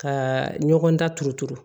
Ka ɲɔgɔn daturutu